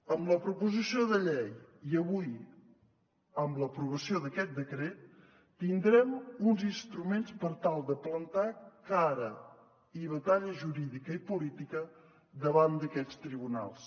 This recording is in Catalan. amb la proposició de llei i avui amb l’aprovació d’aquest decret tindrem uns instruments per tal de plantar cara i batalla jurídica i política davant d’aquests tribunals